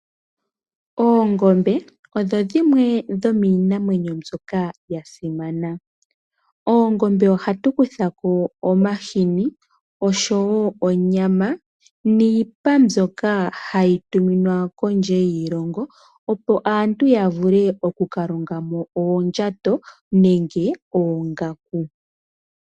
Oongombe odho dhimwe dhomiinamwenyo mbyoka yasimana. Moongonbe ohatu kuthamo omahini osho woo onyama, niipa mbyoka hayi tuminwa kondje yiilongo opo aantu yavule okukalongamo oondjato nenge oongaku.